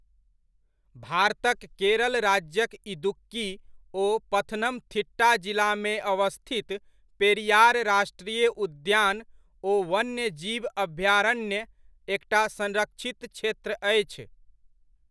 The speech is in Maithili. भारतक केरल राज्यक इदुक्की ओ पथनमथिट्टा जिलामे अवस्थित पेरियार राष्ट्रीय उद्यान ओ वन्यजीव अभयारण्य एकटा संरक्षित क्षेत्र अछि।